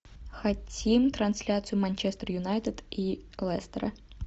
хотим трансляцию манчестер юнайтед и лестера